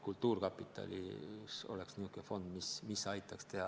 Kultuurkapitalis võiks olla säärane fond, mis aitaks seda teha.